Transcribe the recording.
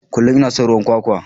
Kullum ina son ruwan kwakwa.